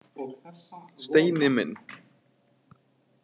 Steini minn!